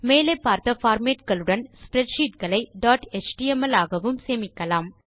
மேலே பார்த்த பார்மேட் களுடன் ஸ்ப்ரெட்ஷீட் களை டாட் எச்டிஎம்எல் ஆகவும் சேமிக்கலாம்